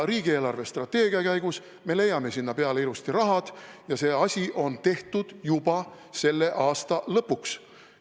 Riigi eelarvestrateegia tegemise käigus me leiame sinna ilusasti raha ja see asi on tehtud juba selle aasta lõpuks.